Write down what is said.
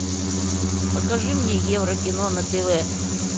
покажи мне еврокино на тв